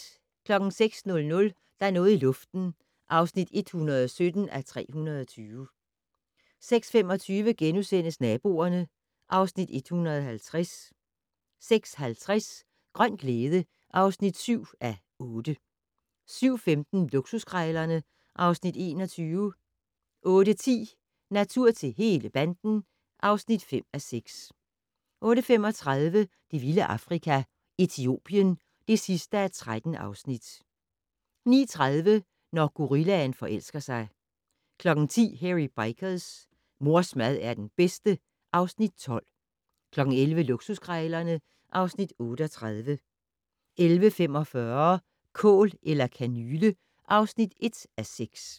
06:00: Der er noget i luften (117:320) 06:25: Naboerne (Afs. 150)* 06:50: Grøn glæde (7:8) 07:15: Luksuskrejlerne (Afs. 21) 08:10: Natur til hele banden (5:6) 08:35: Det vilde Afrika - Etiopien (13:13) 09:30: Når gorillaen forelsker sig 10:00: Hairy Bikers: Mors mad er den bedste (Afs. 12) 11:00: Luksuskrejlerne (Afs. 38) 11:45: Kål eller kanyle (1:6)